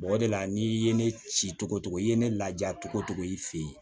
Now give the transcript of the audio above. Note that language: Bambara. o de la n'i ye ne ci cogo cogo i ye ne laja togo togo i fɛ yen